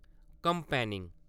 campaigning